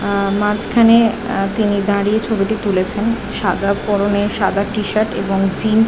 আ মাঝখানে আ তিনি দাঁড়িয়ে ছবিটি তুলেছেন সাদা পরনে সাদা টি-শার্ট এবং জিন --